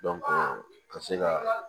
ka se ka